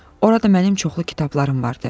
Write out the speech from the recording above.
Orada mənim çoxlu kitablarım vardı.